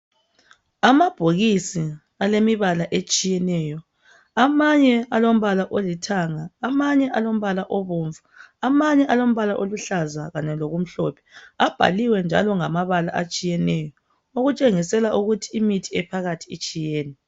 Amabhokisi alemibala etshiyeneyo. Amanye alombala olithanga. Amanye alombala obomvu. Amanye alombala oluhlaza kanye lokumhlophe. Abhaliwe njalo ngamabala atshiyeneyo. Okutshengisela ukuba imithi ephakathi itshiyene.